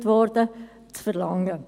Das wurde zur Genüge ausgeführt.